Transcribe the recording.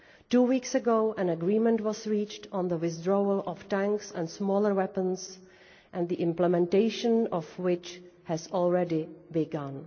Two weeks ago, an agreement was reached on the withdrawal of tanks and smaller weapons, implementation of which has already begun.